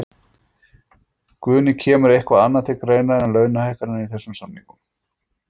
Guðný: Kemur eitthvað annað til greina en launahækkanir í þessum samningum?